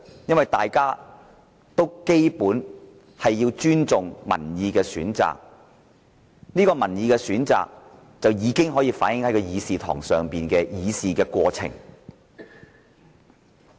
因為大家都尊重民意的選擇，而這個民意選擇已反映在這個議事堂的議事過程。